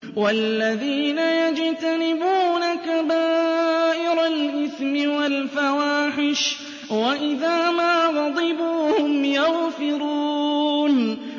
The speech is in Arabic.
وَالَّذِينَ يَجْتَنِبُونَ كَبَائِرَ الْإِثْمِ وَالْفَوَاحِشَ وَإِذَا مَا غَضِبُوا هُمْ يَغْفِرُونَ